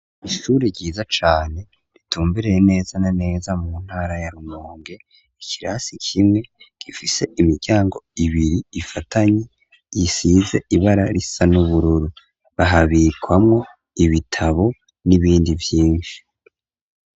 Ishure ryiza cane ritumbereye neza na neza mu ntara ya Rumonge. Ikirasi kimwe, gifise imiryango ibiri ifatanye isize ibara risa n'ubururu. Bahabikamwo ibitabo n'ibindi vyinshi.